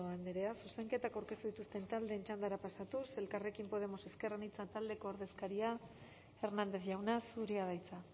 andrea zuzenketak aurkeztu dituzten taldeen txandara pasatuz elkarrekin podemos ezker anitza taldeko ordezkaria hernández jauna zurea da hitza